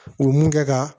U mun kɛ ka